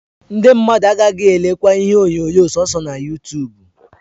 Ndi mmadu agagi elekwa ihe onyonyo soso na yutubu